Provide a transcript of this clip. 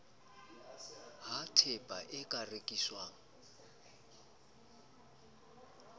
ha tehpa e ka rekiswang